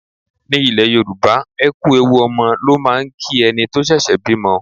Ní ilẹ̀ Yorùbá, ẹ kú ewu ọmọ ló máà ń kí ẹni tó ṣẹ̀ṣẹ̀ bímọ.